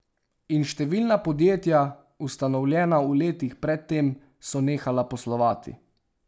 In številna podjetja, ustanovljena v letih pred tem, so nehala poslovati.